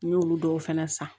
N y'olu dɔw fɛnɛ san